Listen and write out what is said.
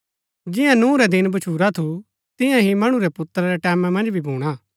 जियां नूह रै दिन भच्छुरा थू तियां ही मणु रै पुत्रा रै टैमां मन्ज भी भूणा